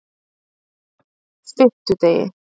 fimmtudegi